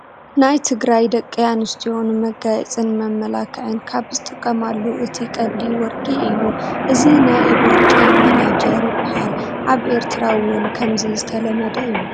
ናይ ትግራይ ደቂ ኣንስትዮ ንመጋየፅን መመላኽዕን ካብ ዝጥቀማሉ እቲ ቀንዲ ወርቂ እዩ፡፡ እዚ ናይ ኢድ ወርቂ መናጀር ይባሃል፡፡ ኣብ ኤርትራ ውን ከምዚ ዝተለመደ እዩ፡፡